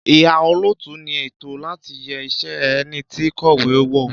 Ìhà -òlótú ni ẹtọ láti yẹ ìṣe ẹniti kọ̀wé wo